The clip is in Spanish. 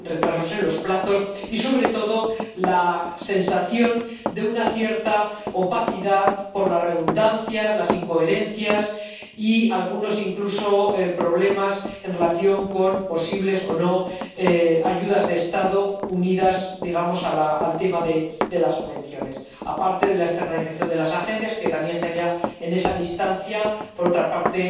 También retrasos en los plazos y, sobre todo, la sensación de una cierta opacidad por las redundancias, las incoherencias y algunos problemas en relación con —posibles o no— ayudas de Estado unidas al tema de las subvenciones, aparte de la externalización de las agencias, que también genera, en esa distancia, por otra parte,